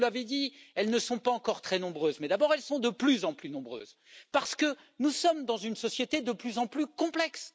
Vous l'avez dit, elles ne sont pas encore très nombreuses mais elles sont de plus en plus nombreuses, parce que nous sommes dans une société de plus en plus complexe.